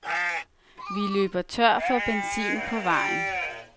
Vi løber tør for benzin på vejen.